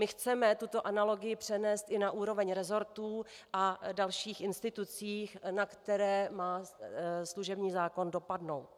My chceme tuto analogii přenést i na úroveň resortů a dalších institucí, na které má služební zákon dopadnout.